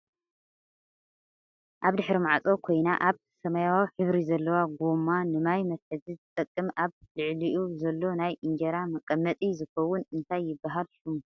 ኣብ ድሕሪ ማዕፆ ኮይና ኣብ ሰማያዊ ሕብሪ ዘለዎ ጎማ ንማይ መትሐዚ ዝጠቅም ኣብ ልዕሊኡ ዘሎ ናይ እንጀራ መቀመጢዝከውን እነታይ ይብሃል ሽሙ?